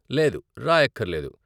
లేదు, రాయక్కర్లేదు.